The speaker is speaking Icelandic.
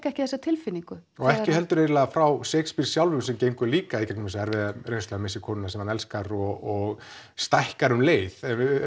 ekki þessa tilfinningu og ekki heldur eiginlega frá Shakespeare sjálfum sem gengur líka í gegnum erfiða reynslu missir konuna sem hann elskar og stækkar um leið en